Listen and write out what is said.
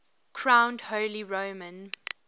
crowned holy roman